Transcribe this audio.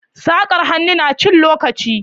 Saƙar hannu na cin lokaci